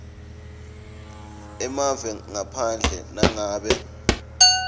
emave ngaphandle nangabe